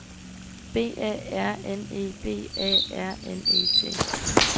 B A R N E B A R N E T